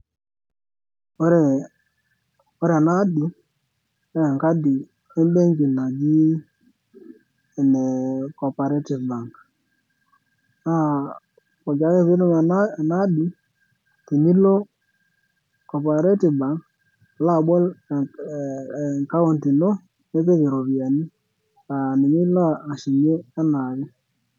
ore ena adi naa enkadi embenki naji ene corporative bank naa poki ake piitum ena adi tenilo corperative bank alo abol account ino nipik iropiyiani aa ninye ilo ashumie enaake